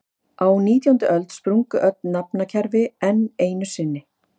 Á nítjándu öld sprungu öll nafnakerfi enn einu sinni.